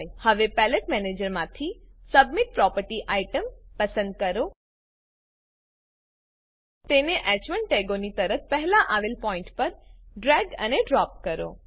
હવે પેલેટ મેનેજરમાંથી સેટબીન પ્રોપર્ટી આઈટમ પસંદ કરો તેને હ1 ટેગોની તરત પહેલા આવેલ પોઈન્ટ પર ડ્રેગ અને ડ્રોપ કરો